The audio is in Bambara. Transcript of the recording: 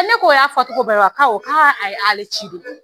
Ne ko y'a fɔcogo bɛɛ wa ko awɔ k'a y'ale de koyi